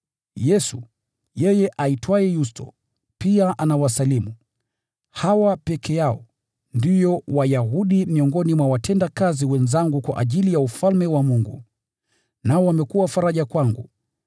Yesu, yeye aitwaye Yusto, pia anawasalimu. Hawa peke yao ndio Wayahudi miongoni mwa watendakazi wenzangu kwa ajili ya Ufalme wa Mungu, nao wamekuwa faraja kwangu.